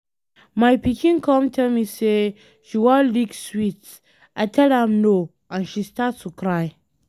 My pikin come tell me say she wan lick sweet, I tell am no and she start to cry.